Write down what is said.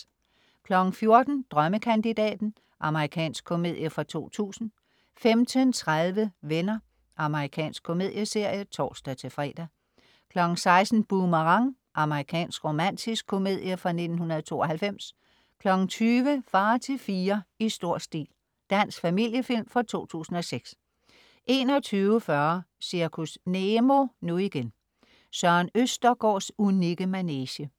14.00 Drømmekandidaten. Amerikansk komedie fra 2000 15.30 Venner. Amerikansk komedieserie (tors-fre) 16.00 Boomerang. Amerikansk romantisk komedie fra 1992 20.00 Far til fire. I stor stil. Dansk familiefilm fra 2006 21.40 Zirkus Nemo, nu igen. Søren Østergaards unikke manege